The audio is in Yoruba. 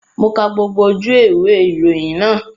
Mo ka gbogbo ojú ewé ìwé ìròyìn náà